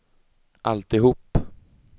alltihop